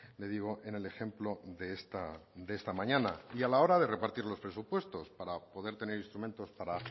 le digo en el ejemplo de esta mañana y a la hora de repartir los presupuestos para poder tener instrumentos para